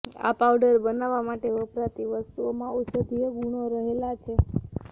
આ પાઉડર બનાવવા માટે વપરાતી વસ્તુઓમાં ઔષધીય ગુણ રહેલા છે